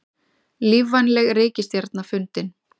Lífvænleg reikistjarna fundin